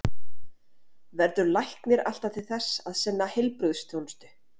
Verður læknir alltaf til þess að sinna heilbrigðisþjónustu?